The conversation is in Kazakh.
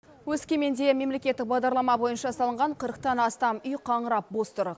өскеменде мемлекеттік бағдарлама бойынша салынған қырықтан астам үй қаңырап бос тұр